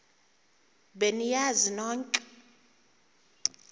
be niyazi nonk